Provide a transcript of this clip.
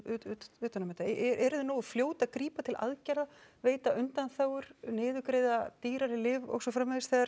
utan um þetta eruð þið nógu fljót að grípa til aðgerða veita undanþágur niðurgreiða dýrari lyf og svo framvegis þegar